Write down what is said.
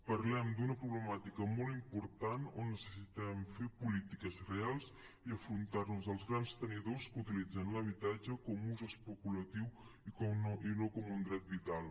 parlem d’una problemàtica molt important on necessitem fer polítiques reals i enfrontar nos als grans tenidors que utilitzen l’habitatge com a ús especulatiu i no com un dret vital